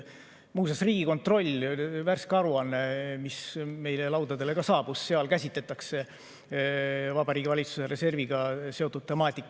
Muuseas, Riigikontrolli värskes aruandes, mis meile laudadele saabus, käsitletakse Vabariigi Valitsuse reserviga seotud temaatikat.